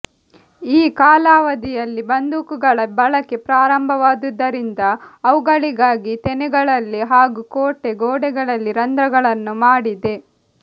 ಈ ಕಾಲಾವಧಿಯಲ್ಲಿ ಬಂದೂಕಗಳ ಬಳಕೆ ಪ್ರಾರಂಭವಾದುದರಿಂದ ಅವುಗಳಿಗಾಗಿ ತೆನೆಗಳಲ್ಲಿ ಹಾಗೂ ಕೋಟೆ ಗೋಡೆಗಳಲ್ಲಿ ರಂಧ್ರಗಳನ್ನು ಮಾಡಿದೆ